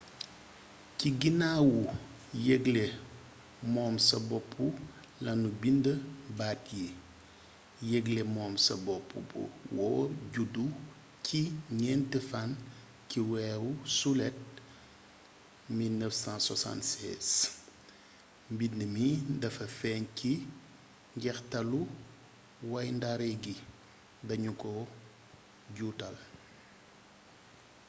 ci ginnaawu yëgle moom sa boppu lanu bind baat yii yëgle moom sa bopp bu wóor judd ci ñent fann c weeru sulet 1776 mbind mi dafa feeñ ci njeextalu wayndaare gi dañu ko juutal